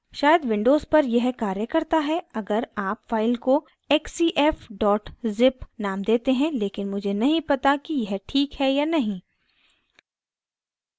शायद windows पर यह कार्य करता है अगर आप file को xcf zip name देते हैं लेकिन मुझे नहीं पता कि यह ठीक है या नहीं